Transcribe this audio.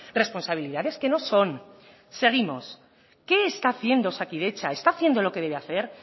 responsabilidades que no son seguimos qué está haciendo osakidetza está haciendo lo que debe hacer